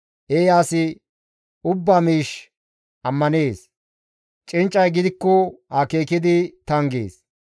Eeya asi ubbaa miish ammanees; cinccay gidikko akeekidi tanggees.